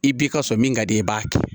I b'i ka sɔrɔ min ka di i ye i b'a kɛ